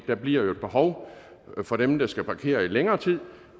der bliver jo et behov for dem der skal parkere i længere tid